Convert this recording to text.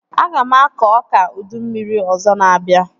Aga m akọ ọka ụdị mmiri ọzọ na-abịa